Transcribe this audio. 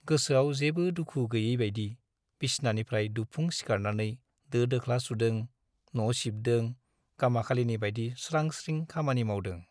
गोसोआव जेबो दुखु गैयैबाइदि बिसनानिफ्राइ दुबफुं सिखारनानै दो - दोख्ला सुदों , न'सिबदों , गामाखालिनि बाइदि स्रां - स्रिं खामानि मावदों ।